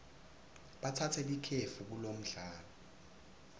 batsatse likefu kulomdlalo